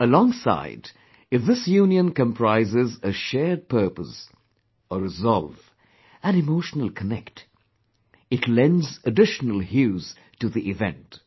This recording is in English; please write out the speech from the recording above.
Alongside, if this union comprises a shared purpose, a resolve, an emotional connect, it lends additional hues to the event